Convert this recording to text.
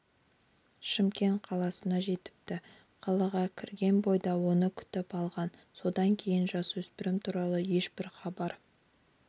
шымкент қаласына жетіпті қалаға кірген бойда оны күтіп алған содан кейін жасөспірім туралы ешбір хабар